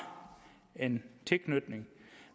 en tilknytning